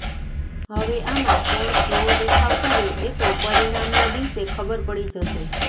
હવે આમા કોણ કેવો દેખાવ કરે એતો પરીણામ ના દિવસે ખબર પડી જશે